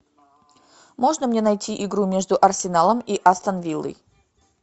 можно мне найти игру между арсеналом и астон виллой